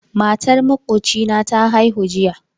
Matar makocina ta haihu jiya